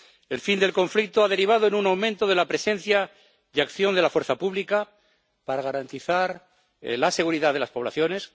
El fin del conflicto ha derivado en un aumento de la presencia y acción de la fuerza pública para garantizar la seguridad de las poblaciones.